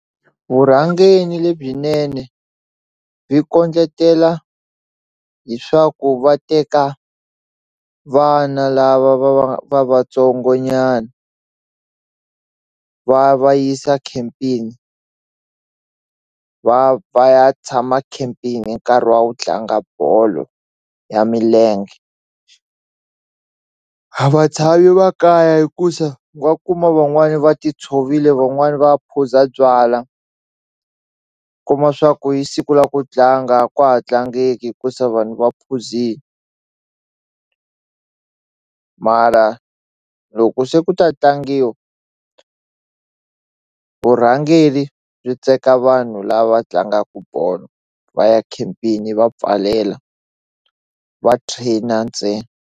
Vurhangeni lebyinene byi kondletela hi swa ku va teka vana lava va va va vatsongo nyana va va yisa khempini va va ya tshama khempini hi nkarhi wa ku tlanga bolo ya milenge a va tshami makaya hikusa wa kuma van'wani va ti tshovile van'wani va phuza byalwa ku ma swa ku yi siku la ku tlanga a kwa ha vatlange hikusa vanhu va phuzini mara loko se ku ta tlangiwa vurhangeri byi teka vanhu lava tlangaku bolo va ya khempaini yi va pfalela va trainer ntsena.